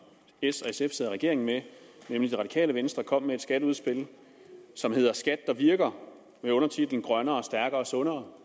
s og sf sidder i regering med nemlig det radikale venstre kom med et skatteudspil som hedder skat der virker med undertitlen grønnere stærkere sundere